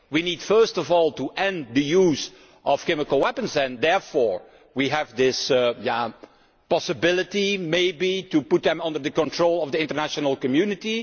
We need first of all to end the use of chemical weapons and therefore we have this possibility, maybe, of putting them under the control of the international community.